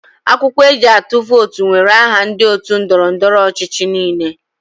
Akwụkwọ eji atụ vootu nwere aha ndị otu ndọrọ ndọrọ ọchịchị niile.